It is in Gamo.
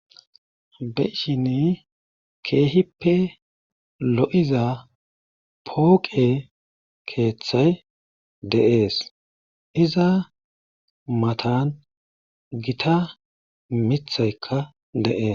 Be7ishini keehippe lo7iza pooqee keethay de7ees iza matan githa mattaykka de7ees.